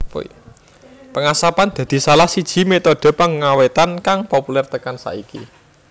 Pengasapan dadi salah siji metode pengawétan kang populer tekan saiki